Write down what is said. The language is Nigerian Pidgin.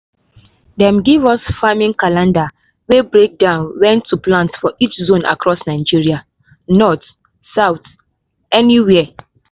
dem give us farming calendar wey break down when to plant for each zone across nigeria — north south anywhere.